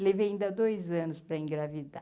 Levei ainda dois anos para engravidar.